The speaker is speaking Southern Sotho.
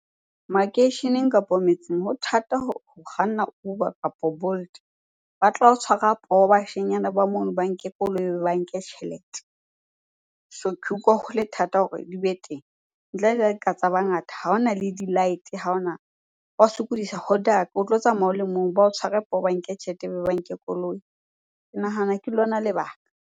Makeisheneng kapo metseng ho thata ho kganna Uber kapa Bolt, ba tla o tshwarwa poho bashenyana ba mono, ba nke koloi be ba nke tjhelete. So ke ho le thata ka hore di be teng ntle le ha di ka tsa ba ngata. Ha hona le di-light-e, ha ona Ba sokodisa, ho dark, o tlo tsamaya o le mong ba o tshware poho, ba nke tjhelete, ba nke koloi. Ke nahana ke lona lebaka.